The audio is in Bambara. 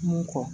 Mun kɔ